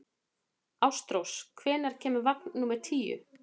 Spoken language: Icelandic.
Ástrós, hvenær kemur vagn númer tíu?